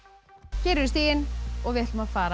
hér eru stigin og við ætlum að fara